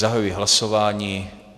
Zahajuji hlasování.